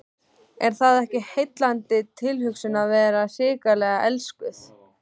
Er það ekki heillandi tilhugsun að vera virkilega elskuð?